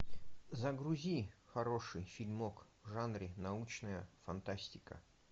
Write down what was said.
загрузи хороший фильмок в жанре научная фантастика